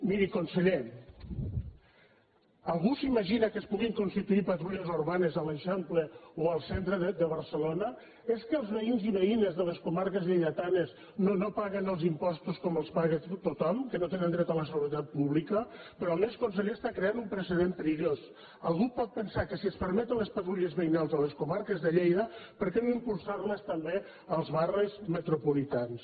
miri conseller algú s’imagina que es puguin constituir patrulles urbanes a l’eixample o al centre de barcelona és que els veïns i veïnes de les comarques lleidatanes no paguen els impostos com els paga tothom que no tenen dret a la seguretat pública però a més conseller crea un precedent perillós algú pot pensar que si es permeten les patrulles veïnals a les comarques de lleida per què no impulsar les també als barris metropolitans